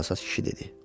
Çalsaz kişi dedi.